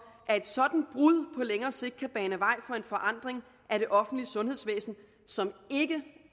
at et sådant brud længere sigt kan bane vej for en forandring af det offentlige sundhedsvæsen som det